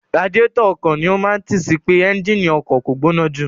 Radiátọ̀ ọkọ̀ ni ó máa tí sì pé ẹ́ńgínì ọkọ̀ kò gbóná jù.